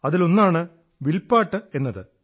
അതിലൊന്നാണ് വിൽപാട്ട് എന്നത്